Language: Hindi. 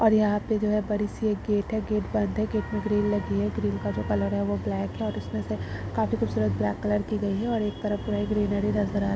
और यहाँ पे जो है बड़ी-सी एक गेट है गेट बंद है गेट में ग्रील लगी है ग्रील का जो कलर है वो ब्लैक है और उसमें से काफी खूबसूरत ब्लैक कलर की गयी है और एक तरफ पूरा ही ग्रीनरी नजर आ --